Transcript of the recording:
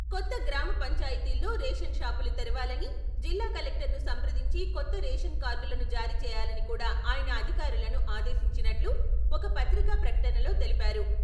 కొత్త గ్రామపంచాయతీల్లో రేషన్ షాపులు తెరవాలని, జిల్లా కలెక్టర్ ను సంప్రదించి కొత్త రేషన్ కార్డులను జారీచేయాలని కూడా ఆయన అధికారులను ఆదేశించినట్లు ఒక పత్రికా ప్రకటనలో తెలిపారు.